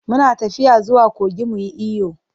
Mu na tafiya zuwa kogi mu yi iyo.